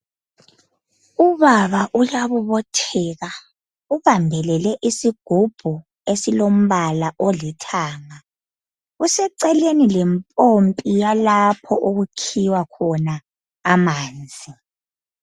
Ubaba uyabobotheka ubambele isigubhu esilombala olithanga, useceleni lempompi yalapho okukhiwa khona amanzi